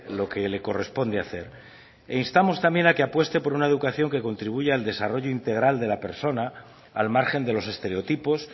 lo que le corresponde hacer e instamos también a que apueste por una educación que contribuya al desarrollo integral de la persona al margen de los estereotipos